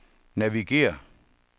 navigér